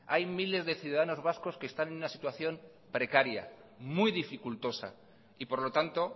hay miles de ciudadanos vascos que están en una situación precaria muy dificultosa y por lo tanto